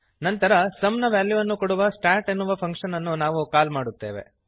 ನಂತರ ಸುಮ್ ನ ವ್ಯಾಲ್ಯುವನ್ನು ಕೊಡುವ ಸ್ಟಾಟ್ ಎನ್ನುವ ಫಂಕ್ಶನ್ ಅನ್ನು ನಾವು ಕಾಲ್ ಮಾಡುತ್ತೇವೆ